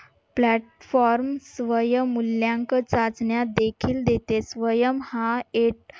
platform स्वयंमूल्यांक चाचण्या देखील देते. SWAYAM हा